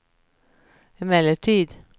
emellertid